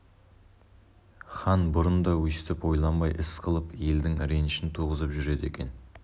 хан бұрын да өстіп ойланбай іс қылып елдің ренішін туғызып жүреді екен